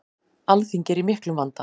Alþingi er í miklum vanda.